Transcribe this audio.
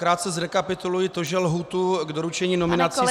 Krátce zrekapituluji to, že lhůtu k doručení nominací jsme -